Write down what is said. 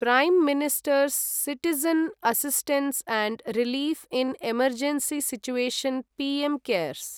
प्रै ministers citizen assistance and relief in emergency situation PM cares